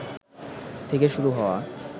থেকে শুরু হওয়া